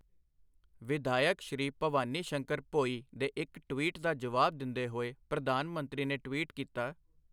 ਵਿਧਾਇਕ ਸ਼੍ਰੀ ਭਬਾਨੀ ਸ਼ੰਕਰ ਭੋਈ ਦੇ ਇੱਕ ਟਵੀਟ ਦਾ ਜਵਾਬ ਦਿੰਦੇ ਹੋਏ, ਪ੍ਰਧਾਨ ਮੰਤਰੀ ਨੇ ਟਵੀਟ ਕੀਤਾ